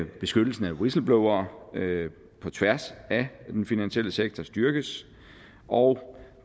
beskyttelsen af whistleblowere på tværs af den finansielle sektor styrkes og